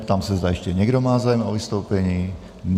Ptám se, zda ještě někdo má zájem o vystoupení.